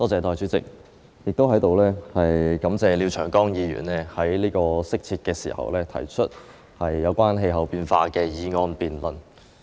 代理主席，在此，我感謝廖長江議員在這個適切的時候提出有關氣候變化的議案作辯論。